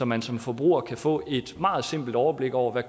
man som forbruger kan få et meget simpelt overblik over